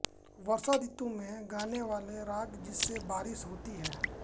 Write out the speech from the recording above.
वर्षा ऋतु में गाने वाला राग जिनसे बारिश होती है